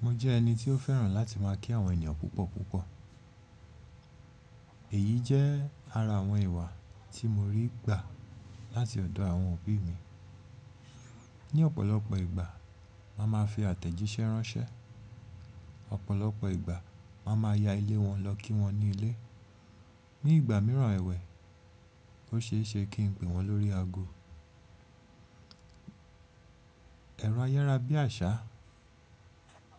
Mo jẹ́ ẹni tí ó fẹ́ràn láti máa kí àwọn ènìyàn púpọ̀ púpọ̀. Èyí jẹ́ ara àwọn ìwà tí mo rí gbà láti ọ̀dọ̀ àwọn òbí mi. Ní ọ̀pọ̀lọpọ̀ ìgbà, wọ́n máa fi àtẹ̀jíṣẹ́ ránṣẹ́. Ọ̀pọ̀lọpọ̀ ìgbà wọ́n máa ya ilé wọn lọ kí wọ́n ní ilé. Ní ìgbà mìíràn ẹ̀wẹ̀, ó ṣe é ṣe kí n pè wọ́n lórí ago. Ẹ̀rọ ayára bí àṣá